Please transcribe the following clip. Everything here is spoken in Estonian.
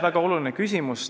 Väga oluline küsimus.